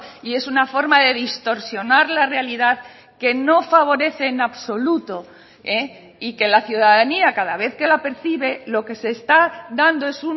y es una forma de distorsionar la realidad que no favorece en absoluto y que la ciudadanía cada vez que la percibe lo que se está dando es